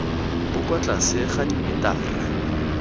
bo kwa tlase ga dimetara